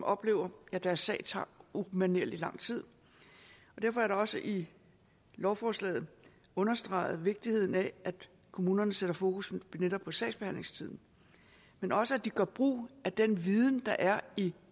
oplever at deres sag tager umanerlig lang tid derfor er der også i lovforslaget understreget vigtigheden af at kommunerne sætter fokus netop på sagsbehandlingstiden men også at de gør brug af den viden der er i